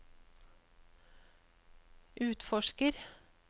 utforsker